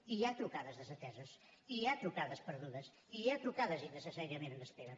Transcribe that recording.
i hi ha trucades desateses i hi ha trucades perdudes i hi ha trucades innecessàriament en espera